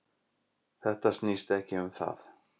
Þetta snýst ekki um það